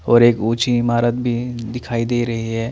और एक ऊची ईमारत भी दिखाई दे रही है।